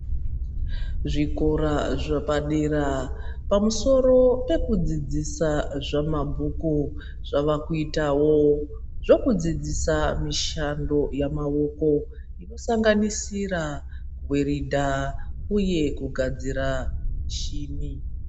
Zvikoro zvepadera ,pamusoro pekudzidzisa zvamabhuku ,zvavakuitawo zvekudzidzisawo mishando yamaoko inosanganisira ,kuweredha uye kugadzira mishini.